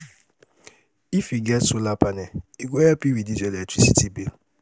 If you get solar panel, e go help reduce your electricity bill.